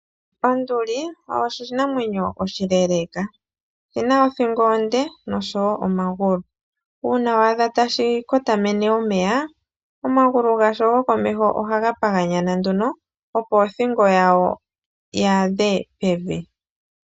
Onduli oyo oshinamwenyo oshileeleka, oshina othingo onde nosho woo omagulu. Uuna wa adha tashi kotamene omeya omagulu gasho gokomeho ohaga paganyana nduno opo othingo yayo yi adhe pevi.